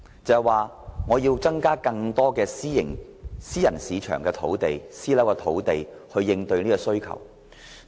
政府要增加更多用作興建私人樓宇的土地，以應對這方面的需求。